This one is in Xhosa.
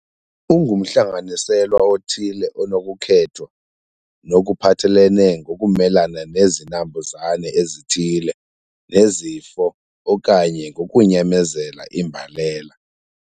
Ungumhlanganiselwa othile onokukhethwa ngokuphathelene ngokumelana nezinambuzane ezithile nezifo okanye ngokunyamezela imbalela.